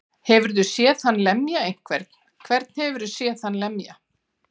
Hefurðu séð hann lemja einhvern. hvern hefurðu séð hann lemja?